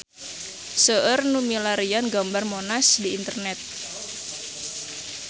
Seueur nu milarian gambar Monas di internet